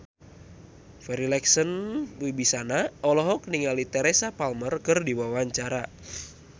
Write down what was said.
Farri Icksan Wibisana olohok ningali Teresa Palmer keur diwawancara